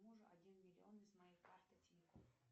мужу один миллион с моей карты тинькофф